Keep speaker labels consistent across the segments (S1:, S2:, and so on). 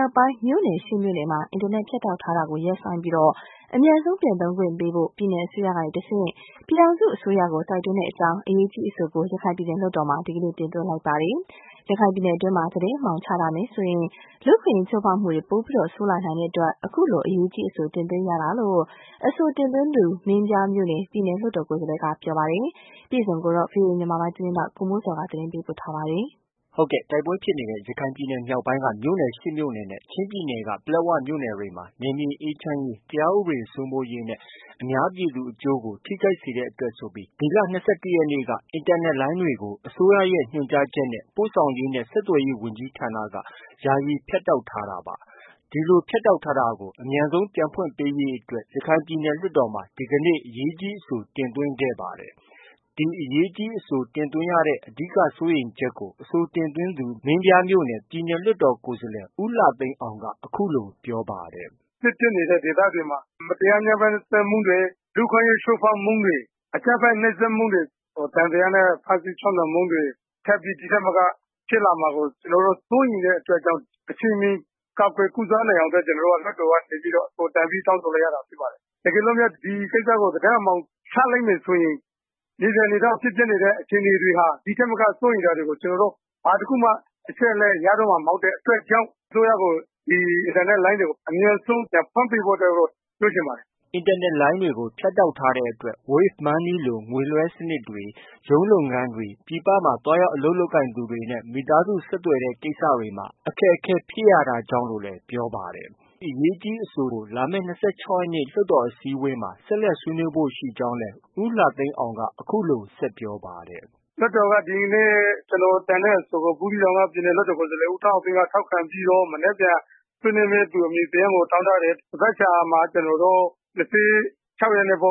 S1: ာက်ပိုင်း မြို့နယ် ရှစ်မြို့နယ်မှာ အင်တာနက် ဖြတ်တောက်ထားတာကို ရပ်ဆိုင်းပြီး အမြန်ဆုံး ပြန်သုံးခွင့်ပေးဖို့ ပြည်နယ်အစိုးရကတဆင့် ပြည်ထောင်စုအစိုးရကို တိုက်တွန်းကြောင်း အရေးကြီး အဆိုကို ရခိုင်ပြည်နယ် လွှတ်တော်မှာ ဒီကနေ့ တင်သွင်းလိုက်ပါတယ်။ ရခိုင်ပြည်နယ်အတွင်းမှာ သတင်းအမှောင် ချထားမယ်ဆိုရင် လူ့အခွင့်အရေး ချိုးဖောက်မှုတွေ ပိုပြီး ဆိုးလာနိုင်တဲ့အတွက် အခုလို အရေးကြီးအဆို တင်သွင်းရတာလို့ အဆိုတင်သွင်းသူ မင်းပြားမြို့နယ် ပြည်နယ်လွှတ်တော် ကိုယ်စားလှယ်က ပြောပါတယ်။ ဒီသတင်းကိုတော့ ဗွီအိုအေမြန်မာပိုင်းရဲ့ သတင်းထောက် ကိုမိုးဇော်က တင်ပြထားပါတယ်။
S2: တိုက်ပွဲဖြစ်နေတဲ့ ရခိုင်ပြည်နယ် မြောက်ပိုင်းက မြို့နယ် ရှစ်မြို့နယ်နဲ့ ချင်းပြည်နယ်က ပလက်ဝမြို့နယ်တွေမှာ နယ်မြေ အေးချမ်းရေး၊ တရားဥပဒေစိုးမိုးရေးနဲ့ အများပြည်သူအကျိုးကို ထိခိုက်စေတဲ့အတွက်ဆိုပြီး ဒီလ ၂၁ ရက်နေ့က စတင်ပြီး အင်တာနက်လိုင်းတွေကို အစိုးရရဲ့ ညွှန်ကြားချက်နဲ့ ပို့ဆောင်ရေးနဲ့ ဆက်သွယ်ရေး ဝန်ကြီးဌာနက ယာယီ ဖြတ်တောက်ထားတာပါ။ ဒီလို ပိတ်ထားတာကို အမြန်ဆုံး ပြန်ဖွင့်ပေးဖို့အတွက် ရခိုင်ပြည်နယ် လွှတ်တော်မှာ ဒီကနေ့ အရေးကြီးအဆို တင်သွင်းတာ ဖြစ်ပါတယ်။ ဒီအရေးကြီးအဆို တင်သွင်းရတဲ့ အဓိက စိုးရိမ်ချက်ကို အဆိုတင်သွင်းသူ မင်းပြားမြို့နယ် ပြည်နယ်လွှတ်တော် ကိုယ်စားလှယ် ဦးလှသိန်းအောင်က အခုလို ပြောပါတယ်။
S3: “စစ်ဖြစ်နေတဲ့ဒေသတွေမှာ မတရား ဖိနှိပ်မှုတွေ၊ လူ့အခွင့်အရေး ချိုးဖောက်မှုတွေ၊ အကြမ်းဖက် နှိပ်စက်မှုတွေ၊ သံသယနဲ့ ချုပ်နှောင်ဖမ်းဆီးမှုတွေ ထပ်ပြီး ဒီထက်မက ဖြစ်လာမှာကို စိုးရိမ်တဲ့အတွက်ကြောင့် အချိန်မီ ကာကွယ် ကုစားနိုင်ဖို့အတွက် ကျနော်တို့ လွှတ်တော်ကနေပြီး တင်ပြ တောင်းဆိုလိုက်ရတာ ဖြစ်ပါတယ်။ တကယ်လို့များ ဒီကိစ္စကို သတင်း အမှောင်ချလိုက်မယ်ဆိုရင် မြေပြင်အနေအထားမှာ ဖြစ်ပျက်နေတဲ့ အခြေအနေတွေဟာ ဒီထက်မက စိုးရိမ်စရာတွေကို ကျနော်တို့ ဘာတခုမှ အချက်အလက် ရတော့မှာ မဟုတ်တဲ့အတွက်ကြောင့် အစိုးရကို ဒီအင်တာနက်လိုင်းတွေကို အမြန်ဆုံး ပြန်ဖွင့်ပေးဖို့အတွက် ပြောချင်ပါတယ်။
S2: ” အင်တာနက်လိုင်းတွေကို ဖြတ်တောက်ထားတဲ့အတွက် Wave money လို ငွေလွဲှတဲ့စနစ်တွေ၊ ရုံးလုပ်ငန်းကိစ္စတွေ၊ ပြည်ပမှာသွားရောက် အလုပ်လုပ်သူတွေနဲ့ မိသားစုဆက်သွယ်တဲ့ ကိစ္စတွေမှာ အခက်အခဲ ဖြစ်ရတာကြောင့်လို့လည်း ပြောပါတယ်။ အရေးကြီးအဆိုကို လာမယ့် ၂၆ရက်နေ့ လွှတ်တော်အစည်းအဝေးမှာ ဆက်လက်ဆွေးနွေးဖု့ိ ရှိကြောင်းလည်း ဦးလှသိန်းအောင်က အခုလို ဆက်ပြောပါတယ်။
S3: “လွှတ်တော်က ဒီနေ့ ကျနော်တင်တဲ့ အဆိုကို ဘူးသီးတောင်က ပြည်နယ်လွှတ်တော် ကိုယ်စားလှယ် ဦးထွန်းအောင်သိန်းက ထောက်ခံပြီးတော့ မနက်ဖြန် ဆွေးနွေးမယ့်သူ အမည်စာရင်းကို တောင်းထားတယ်။ သန်ဘက်ခါမှာ ၂၆ ရက်နေ့မှာ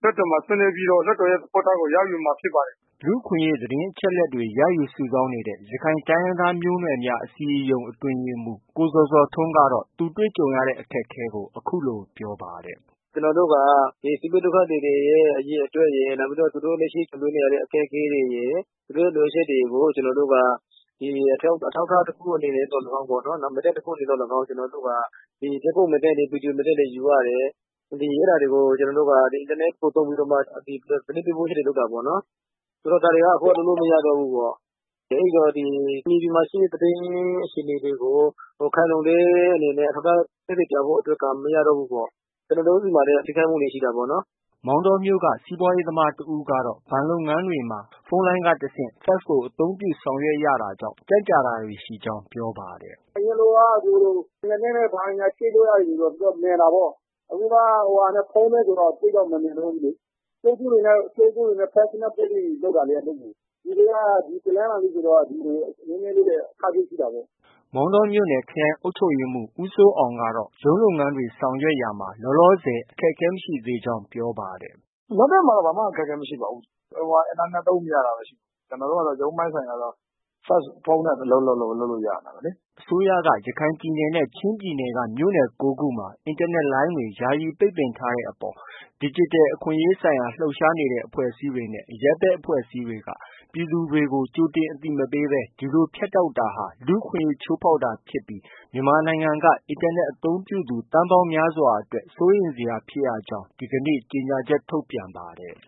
S3: လွှတ်တော်မှာ ဆွေးနွေးပြီးတော့ လွှတ်တော်ရဲ့ သဘောထားကို ရယူမှာ ဖြစ်ပါတယ်။
S2: ” လူ့အခွင့်အရေး သတင်းအချက်အလက်တွေ ရယူ စုဆောင်းနေတဲ့ ရခိုင်တိုင်းရင်းသားမျိုးနွယ်များ အစည်းအရုံး အတွင်းရေးမှူး ကိုဇော်ဇော်ထွန်းကတော့ သူတို့ကြုံတွေ့ရတဲ့ အခက်အခဲကို အခုလို ပြောပါတယ်။
S1: “ကျနော်တို့က ဒီစစ်ဘေးဒုက္ခသည်တွေရဲ့ အရေအတွက်ရယ်၊ နောက် သူတို့ လက်ရှိကြုံတွေ့နေရတဲ့ အခက်အခဲတွေရယ် သူတို့ရဲ့ လိုအပ်ချက်တွေကို ကျနော်တို့က အထောက်အထား တခု အနေနဲ့သော်လည်းကောင်း၊ မှတ်တမ်းတခုအနေနဲ့ သော်လည်းကောင်း ဓါတ်ပုံမှတ်တမ်း၊ ဗီဒီယိုမှတ်တမ်းတွေ ယူရတယ်။ အဲဒါတွေကို အင်တာနက်ကို သုံးပြီးတော့မှ သတင်းပေးပို့ချက်တွေ လုပ်တာပေါ့နော်။ ဒါတွေက အခုက လုပ်လို့ မရတော့ဘူးပေါ့။ အဲဒီတော့ မြေပြင်မှာ ရှိနေတဲ့ သတင်း အခြေအနေတွေကို ခိုင်လုံတဲ့အနေနဲ့ သက်သေ အထောက်အထားပြဖို့က မရတော့ဘူးပေါ့။ ကျနော်တို့ ဆီမှာလည်း အများကြီး ထိခိုက်မှုတွေ ရှိတာပေါ့နော်။
S2: ” မောင်တောမြို့က စီးပွားရေးသမား တဦးကတော့ ဘဏ်လုပ်ငန်းတွေမှာ ဖုန်းလိုင်းက တဆင့် fax ကို အသုံးပြု ဆောင်ရွက်ရတာကြောင့် ကြန့်ကြာတာတွေ ရှိကြောင်း ပြောပါတယ်။
S3: “အရင်လိုက အင်တာနက်နဲ့ ဘာညာ ချိတ်လို့ ရတယ်ဆိုတော့ မြန်တာပေါ့။ အခုက ဖုန်းနဲ့ ဆိုတော့ သိပ်တော့ မမြန်တော့ဘူးလေ။ ကြိုးဖုန်းတွေနဲ့ fax နဲ့ ပို့ပြီးလုပ်တာလေ အလုပ်ကို။ ဒီနေ့က တနင်္လာနေ့ဆိုတော့ နည်းနည်းလေး အခက်အခဲ ရှိတာပေါ့။
S2: ” မောင်တောမြို့နယ် ခရိုင်အုပ်ချုပ်ရေးမှူး ဦးစိုးအောင်ကတော့ ရုံးလုပ်ငန်းတွေ ဆောင်ရွက်ရာမှာ လောလောဆယ် အခက်အခဲ မရှိသေးကြောင်း ပြောပါတယ်
S3: ။ “လက်တွေ့မှာ ဘာမှ အခက်အခဲ မရှိပါဘူး။ အင်တာနက် သုံးမရတာဘဲ ရှိတာ။ ကျနော်တို့က ရုံးပိုင်းဆိုင်ရာဆိုတော့ ဖုန်း၊ fax နဲ့ပဲ အလုပ်လုပ်လု့ိရနေတာပဲလေ။
S2: ” အစိုးရက ရခိုင်ပြည်နယ်နဲ့ ချင်းပြည်နယ်က မြို့နယ် ကိုးခုမှာ အင်တာနက်လိုင်းတွေ ယာယီပိတ်ပင်ထားတဲ့အပေါ်မှာ ဒီဂျစ်တယ် အခွင့်အရေးဆိုင်ရာ လှုပ်ရှားနေတဲ့ အဖွဲ့အစည်းတွေနဲ့ အရပ်ဘက် အဖွဲ့အစည်းတွေက ပြည်သူတွေကို ကြိုတင် အသိမပေးဘဲ ဒီလို ဖြတ်တောက်တာဟာ လူ့ အခွင့်အရေး ချိုးဖောက်တာဖြစ်ပြီး မြန်မာနိုင်ငံက အင်တာနက် အသုံးပြုသူ သန်းပေါင်းများစွာအတွက် စိုးရိမ်စရာဖြစ်ကြောင်း ဒီနေ့ ကြေညာချက် ထုတ်ပြန်ပါတယ်